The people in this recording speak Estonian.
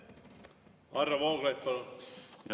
Varro Vooglaid, palun!